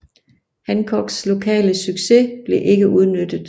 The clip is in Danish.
Hancocks lokale succes blev ikke udnyttet